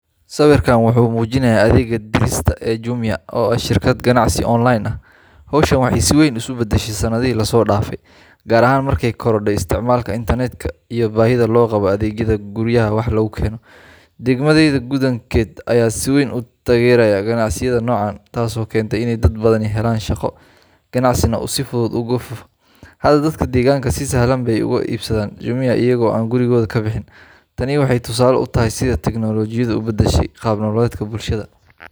Sawirkan waxa uu muujinayaa adeegga dirista ee Jumia oo ah shirkad ganacsi online ah. Hawshan waxay si weyn isu beddeshay sannadihii la soo dhaafay, gaar ahaan markay korodhay isticmaalka internetka iyo baahida loo qabo adeegyada guryaha wax lagu keeno. Degmadayada guddoonkeeda ayaa si weyn u taageeray ganacsiyada noocan ah, taasoo keentay in dad badani helaan shaqo, ganacsina uu si fudud ugu faafo. Hadda, dadka deegaanka si sahlan bay wax uga iibsadaan Jumia, iyagoo aan gurigooda ka bixin. Tani waxay tusaale u tahay sida tignoolajiyadu u beddeshay qaab nololeedka bulshada.